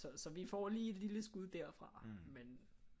Så vi får lige et lille skud derfra men